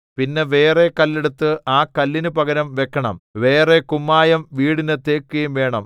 പിന്നെ വേറെ കല്ലെടുത്ത് ആ കല്ലിനു പകരം വെക്കണം വേറെ കുമ്മായം വീടിന് തേക്കുകയും വേണം